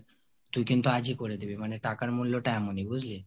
তুই কিন্তু আজিই করে দিবি মানে টাকার মূল্যটা এমনি বুজলি?